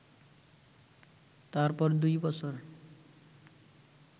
তারপর দুই বছর